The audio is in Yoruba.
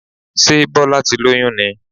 Sé Bọ́lá ti lóyún ni?